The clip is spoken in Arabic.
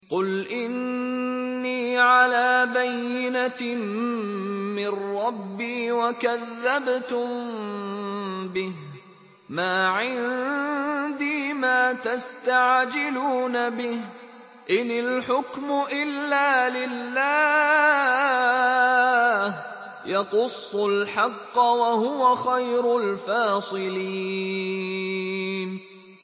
قُلْ إِنِّي عَلَىٰ بَيِّنَةٍ مِّن رَّبِّي وَكَذَّبْتُم بِهِ ۚ مَا عِندِي مَا تَسْتَعْجِلُونَ بِهِ ۚ إِنِ الْحُكْمُ إِلَّا لِلَّهِ ۖ يَقُصُّ الْحَقَّ ۖ وَهُوَ خَيْرُ الْفَاصِلِينَ